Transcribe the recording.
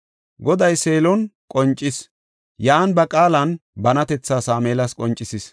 Goday Seelon qoncees; yan ba qaalan banatetha Sameelas qoncisees.